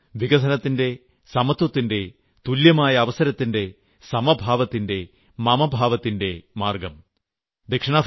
ആ മാർഗ്ഗമാണ് വികസനത്തിന്റെ സമത്വത്തിന്റെ തുല്യമായ അവസരത്തിന്റെ സമഭാവത്തിന്റെ മമഭാവത്തിന്റെ മാർഗ്ഗം